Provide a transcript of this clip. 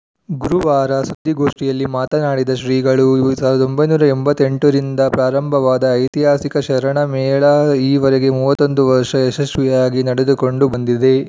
ಗುರುವಾರ ಸುದ್ದಿಗೋಷ್ಠಿಯಲ್ಲಿ ಮಾತನಾಡಿದ ಶ್ರೀಗಳು ಸಾವಿರದ ಒಂಬೈನೂರ ಎಂಬತ್ತ್ ಎಂಟರಿಂದ ಪ್ರಾರಂಭವಾದ ಐತಿಹಾಸಿಕ ಶರಣ ಮೇಳ ಈವರೆಗೆ ಮೂವತ್ತ್ ಒಂದು ವರ್ಷ ಯಶಸ್ವಿಯಾಗಿ ನಡೆದುಕೊಂಡು ಬಂದಿದೆ